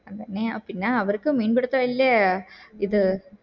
അതെന്നെയാ പിന്നെ അവർക്ക് മീൻ പിടിത്തം ഇല്ലേ ഇത്